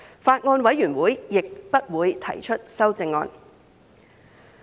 法案委員會亦不會提出修正案。